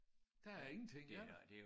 Der er ingenting vel?